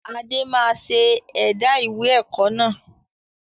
Adé máa ṣe ẹ̀dá ìwé ẹ̀kọ́ náà